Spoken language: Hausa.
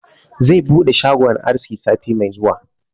Zai buɗe shagon aski sati mai zuwa